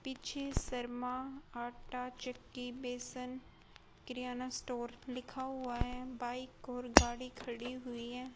पीछे शर्मा आटा चक्की बेसन किरयाना स्टोर लिखा हुआ है बाइक और गाड़ी खड़ी हुई है।